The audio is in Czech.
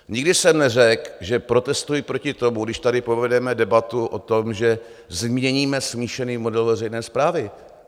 Nikdy jsem neřekl, že protestuji proti tomu, když tady povedeme debatu o tom, že změníme smíšený model veřejné správy.